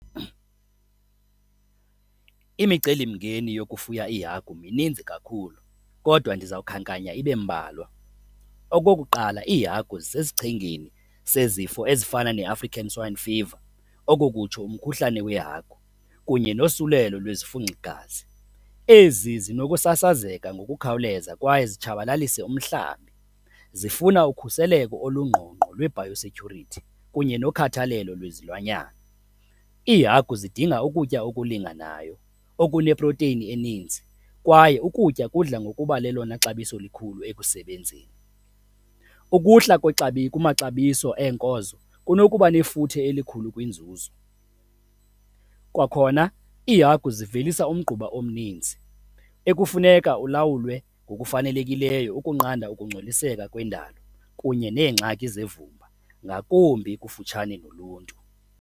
Imicelimngeni yokufuya iihagu mininzi kakhulu kodwa ndiza kukhankanya ibe mbalwa. Okokuqala, iihagu zisesichengeni sezifo ezifana neAfrican Swine Fever, oko kutsho umkhuhlane weehagu kunye nosulelo lwezifunxigazi. Ezi zinokusasazeka ngokukhawuleza kwaye zitshabalalise umhlambi. Zifuna ukhuseleko olungqongqo lwe-bio security kunye nokhathalelo lwezilwanyana. IIhagu zidinga ukutya okulinganayo, okuneprowutini eninzi kwaye ukutya kudla ngokuba lelona xabiso likhulu ekusebenzeni. Ukuhla kumaxabiso eenkonzo kunokuba nefuthe elikhulu kwinzuzo. Kwakhona iihagu zivelisa umgquba omninzi ekufuneka ulawulwe ngokufanelekileyo ukunqanda ukungcoliseka kwendalo kunye neengxaki zevumba ngakumbi kufutshane noluntu.